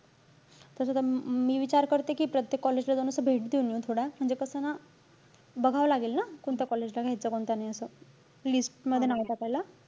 तस त मी अं विचार करते कि प्रत्येक college ला असं जाऊन, भेट देऊन येऊ थोड्या. म्हणजे कसंय ना. बघावं लागेल ना, कोणत्या college ला घ्यायचं, कोणत्या नाई असं. list मध्ये नाव टाकायला.